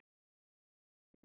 Pabbi ég er búinn!